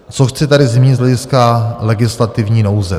Co chci tady zmínit z hlediska legislativní nouze?